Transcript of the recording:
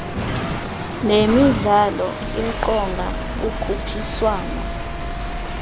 nemidlalo yeqonga ukhuphiswano